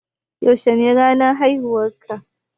Yaushe ne ranar haihuwan ka